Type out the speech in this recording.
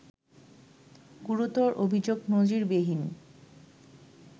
গুরুতর অভিযোগ নজিরবিহীন